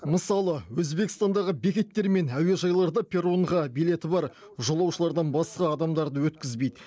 мысалы өзбекстандағы бекеттер мен әуежайларда перронға билеті бар жолаушыдан басқа адамдарды өткізбейді